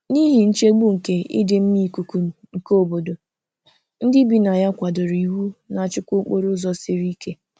N'ihi nchegbu nke ịdị mma ikuku nke obodo, ndị bi na ya kwadoro iwu na-achịkwa okporo ụzọ sịrị ike.